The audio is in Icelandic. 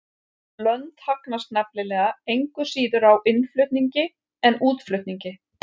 Lönd hagnast nefnilega engu síður á innflutningi en útflutningi.